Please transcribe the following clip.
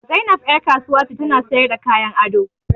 Zainab ƴar kasuwa ce ta na sayarda kayan ado